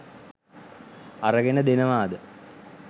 අරගෙන දෙනවාද?